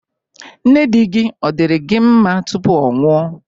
Nne di gị, ọ̀ diri gi nma tupu ọ nwụọ?